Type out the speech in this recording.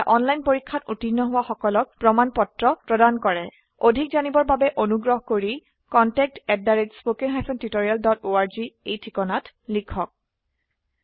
এটা অনলাইন পৰীক্ষাত উত্তীৰ্ণ হোৱা সকলক প্ৰমাণ পত্ৰ প্ৰদান কৰে অধিক জানিবৰ বাবে অনুগ্ৰহ কৰি contactspoken tutorialorg এই ঠিকনাত লিখক